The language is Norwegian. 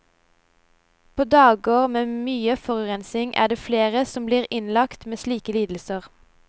På dager med mye forurensning er det flere som blir innlagt med slike lidelser.